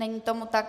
Není tomu tak.